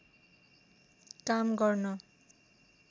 काम गर्न